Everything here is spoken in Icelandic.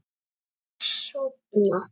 Mamma ætlar að sofna.